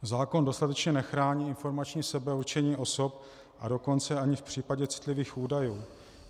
Zákon dostatečně nechrání informační sebeurčení osob, a dokonce ani v případě citlivých údajů.